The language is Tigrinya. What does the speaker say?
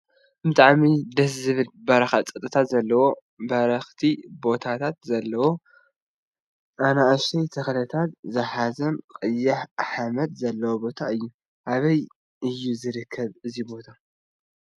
ብጣዕሚ ደሰ ዝብል በረካ ፀጥታ ዘለዎን በረክቲ ቦታት ዘለወን ኣናእሽቲ ተክልታት ዝሓዘን ቀይሕ ሓመድ ዘለዎን ቦታ እዩ። ኣበይ እዩ ዝርከብ እዙይ ቦታ ?